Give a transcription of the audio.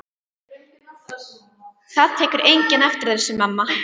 Það tekur enginn eftir þessu, mamma.